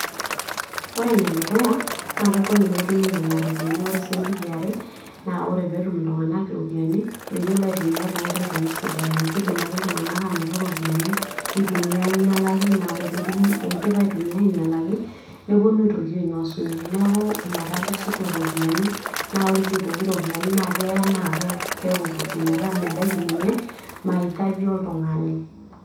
ore ene dukuya naa kegol etumi nena ropiyiani, ore eniare naa ore pee etum iltung'anak iropiyiani meyiolo aitumiya too nkoitoi sidai , kidim ake iltung'anak aanoto iropiyiani nitumiya aing'ialaki nee keya neeku ore pee idim atumiya aing'ialaki nepuonu aitoki ainosunye naa keya neeku kikuti mebaki ninye maitaji oltung'ani.